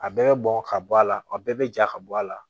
A bɛɛ bɛ bɔn ka bɔ a la a bɛɛ bɛ ja ka bɔ a la